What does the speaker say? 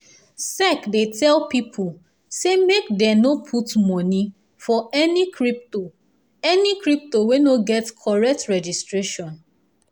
sec dey tell people say make dem no put money for any crypto any crypto wey no get correct registration